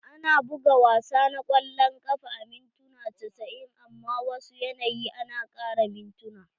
Ana buga wasa na kwallon kafa a mintuna casa'in amman a wasu yanayi a na ƙarin mintuna.